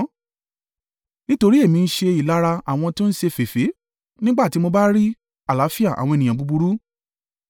Nítorí èmi ń ṣe ìlara àwọn tó ń ṣe féfé nígbà tí mo bá rí àlàáfíà àwọn ènìyàn búburú.